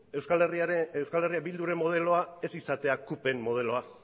euskal herria bilduren modeloa ez izatea cupen modeloa